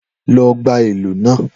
Lọ gba ìlù náà